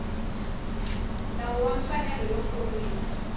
nawu wa mfanelo yo kurisa